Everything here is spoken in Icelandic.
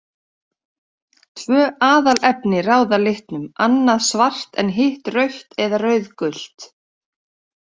Tvö aðalefni ráða litnum, annað svart en hitt rautt eða rauðgult.